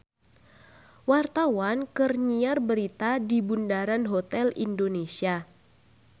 Wartawan keur nyiar berita di Bundaran Hotel Indonesia